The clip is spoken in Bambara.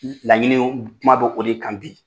Laɲinini kuma bɛ o de kan bi.